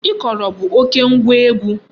Ikoro bụ oké ngwa egwu.